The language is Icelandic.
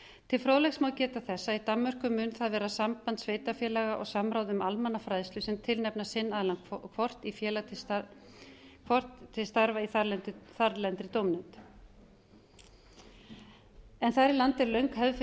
til fróðleiks má geta þess að í danmörku mun það vera samband sveitarfélaga og samráð um almannafræðslu sem tilnefna sinn aðilann hvort til starfa í þarlendri dómnefnd en þar í landi er löng hefði